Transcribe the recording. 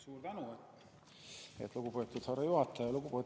Suur tänu, lugupeetud härra juhataja!